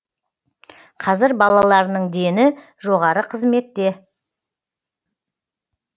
қазір балаларының дені жоғары қызметте